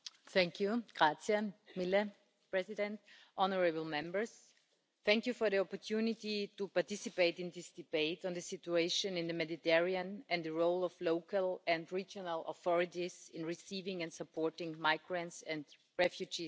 Mr President, honourable Members, thank you for the opportunity to participate in this debate on the situation in the Mediterranean and the role of local and regional authorities in receiving and supporting migrants and refugees at local level.